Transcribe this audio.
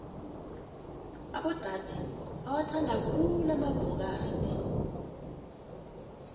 abodade bawathanda khulu amabhokadi